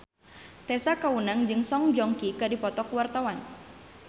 Tessa Kaunang jeung Song Joong Ki keur dipoto ku wartawan